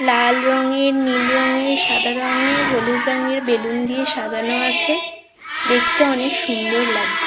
লাল রঙের নীল রঙের সাদা রঙের হলুদ রঙের বেলুন দিয়ে সাজানো আছে দেখতে অনেক সুন্দর লাগছে।